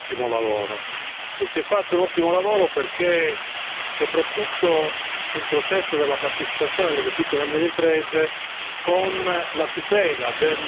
Credo che si sia fatto un ottimo lavoro, e si è fatto un ottimo lavoro soprattutto sul processo della partecipazione delle piccole e medie imprese.